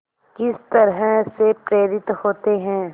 किस तरह से प्रेरित होते हैं